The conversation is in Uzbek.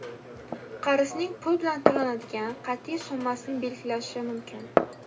qarzning pul bilan to‘lanadigan qatiy summasini belgilashi mumkin.